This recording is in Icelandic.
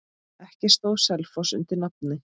Ekki stóð Selfoss undir nafni.